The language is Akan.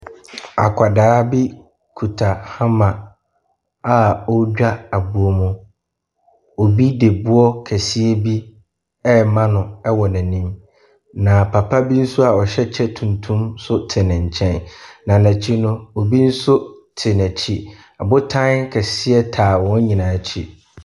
Akwadaa bi kuta hammer a ɔredwa aboɔ mu. Obi de boɔ kɛseɛ bi rema no wɔ nenim. Na papa bi nso a ɔhyɛ kyɛ tuntum so te ne nkyɛn, na nɛkyi no obi nso te nɛkyi. Ɔbotan kɛseɛ taa wɔn nyinaa ɛkyi.